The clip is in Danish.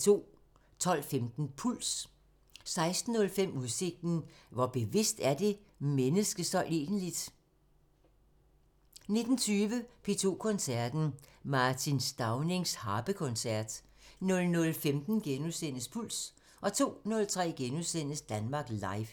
12:15: Puls 16:05: Udsigten – Hvor bevidst er det menneske så egentligt? 19:20: P2 Koncerten – Martin Staunings Harpekoncert 00:15: Puls * 02:03: Danmark Live *